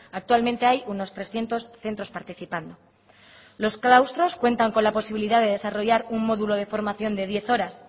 actualmente hay unos trescientos centros participando los claustros cuentan con la posibilidad de desarrollar un módulo de formación de diez horas